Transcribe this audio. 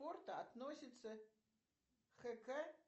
относится хэкэ